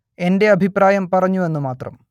എന്റെ അഭിപ്രായം പറഞ്ഞു എന്നു മാത്രം